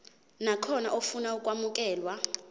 nakhona ofuna ukwamukelwa